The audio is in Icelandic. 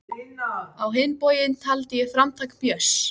Á hinn bóginn taldi ég framtak Björns